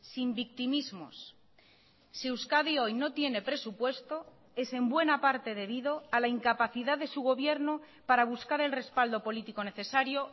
sin victimismos si euskadi hoy no tiene presupuesto es en buena parte debido a la incapacidad de su gobierno para buscar el respaldo político necesario